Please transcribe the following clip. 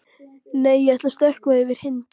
Nei, ég ætla að stökkva yfir hindrun.